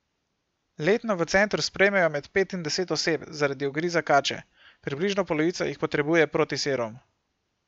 Letno v centru sprejmejo med pet in deset oseb zaradi ugriza kače, približno polovica jih potrebuje protiserum.